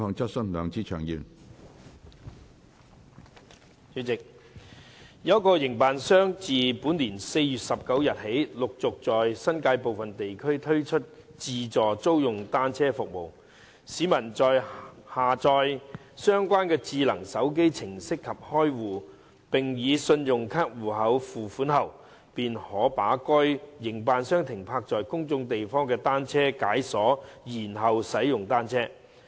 主席，有一個營辦商自本年4月19日起陸續在新界部分地區推出自助租用單車服務：市民在下載相關智能手機程式及開戶，並以信用卡戶口付款後，便可把該營辦商停泊在公眾地方的單車解鎖然後使用單車。